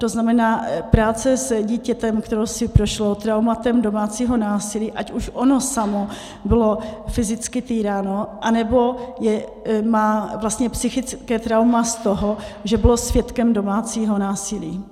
To znamená práce s dítětem, které si prošlo traumatem domácího násilí, ať už ono samo bylo fyzicky týráno, anebo má vlastně psychické trauma z toho, že bylo svědkem domácího násilí.